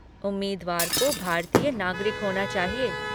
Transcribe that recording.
उम्मीदवार को भारतीय नागरिक होना चाहिए।